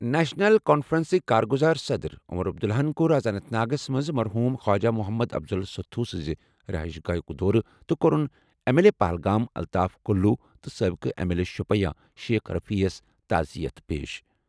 National کانفرنسٕکۍ کارگذار صدر عمر عبداللہ ہَن کوٚر اَز اننت ناگَس منٛز مرحوٗم خواجہ محمد افضل ستھو سٕنٛزِ رہائش گاہُک دورٕ تہٕ کوٚرُن M L A Pahalgam Altaf Kaloo تہٕ سٲبقہٕ M L A Shopian Sheikh رفیعَس تعزیت پیش۔